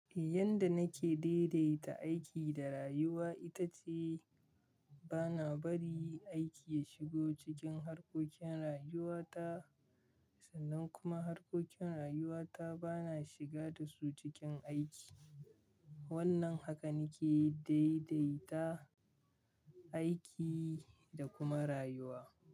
Yanda nake daidaita aiki da rayuwa ita ce bana bari aiki ya shigo cikin harkokin rayuwata, sannan kuma harkokin rayuwata bana shiga dasu cikin aiki. Wannan haka nake daidaita aiki da kuma rayuwa.